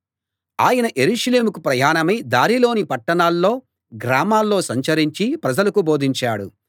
ఆయన యెరూషలేముకు ప్రయాణమై దారిలోని పట్టణాల్లో గ్రామాల్లో సంచరించి ప్రజలకు బోధించాడు